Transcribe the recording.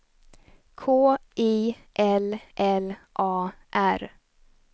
K I L L A R